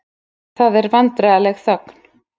Það er vandræðaleg þögn.